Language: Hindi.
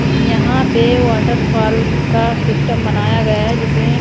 यहां पे वाटरफॉल का सिस्टम बनाया गया है जिसे--